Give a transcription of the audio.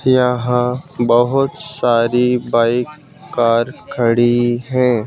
यहां बहुत सारी बाइक कार खड़ी हैं।